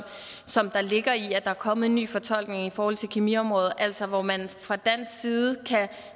som der ligger i at der er kommet en ny fortolkning i forhold til kemiområdet altså hvor man fra dansk side